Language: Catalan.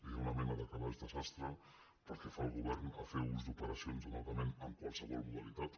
hi ha una mena de calaix de sastre pel que fa al go·vern a fer ús d’operacions d’endeutament en qualse·vol modalitat